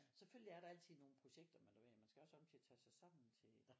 Selvfølgelig er der altid nogle projekter men du ved man skal jo også op til at tage sig sammen til